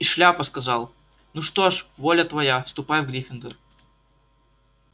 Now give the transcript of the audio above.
и шляпа сказал ну что ж воля твоя ступай в гриффиндор